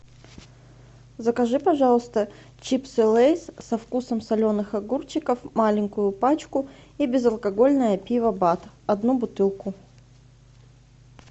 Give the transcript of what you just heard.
закажи пожалуйста чипсы лейс со вкусом соленых огурчиков маленькую пачку и безалкогольное пиво бад одну бутылку